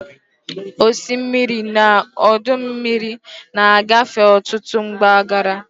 Osimiri na ọdọ mmiri na-agafe n'ọtụtụ mpaghara.